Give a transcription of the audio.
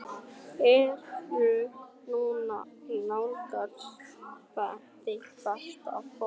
Ertu núna að nálgast þitt besta form?